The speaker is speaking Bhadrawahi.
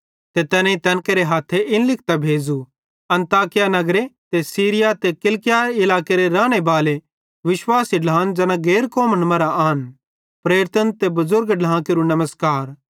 ते तैनेईं तैन केरे हथ्थे इन लिखतां भेज़ू अन्ताकिया नगरे ते सीरिया ते किलिकिया इलाकां केरे रानेबाले विश्वासी ढ्लान ज़ैना गैर कौमन मरां आन प्रेरितां ते बुज़ुर्ग ढ्लां केरू नमस्कार